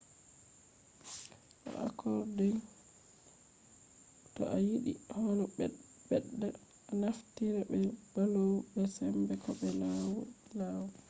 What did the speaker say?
do accordion to a yiɗi holo ɓedda a naftira be bellows be sembe ko be lau lau